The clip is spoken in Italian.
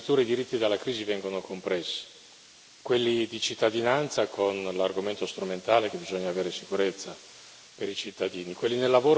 Addirittura, i diritti vengono compressi dalla crisi quelli di cittadinanza, con l'argomento strumentale che bisogna avere sicurezza per i cittadini